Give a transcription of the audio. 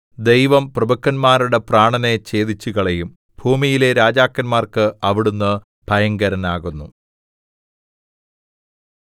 ദൈവം പ്രഭുക്കന്മാരുടെ പ്രാണനെ ഛേദിച്ചുകളയും ഭൂമിയിലെ രാജാക്കന്മാർക്ക് അവിടുന്ന് ഭയങ്കരനാകുന്നു